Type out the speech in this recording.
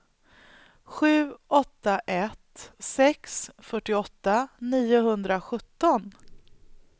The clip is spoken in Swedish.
sju åtta ett sex fyrtioåtta niohundrasjutton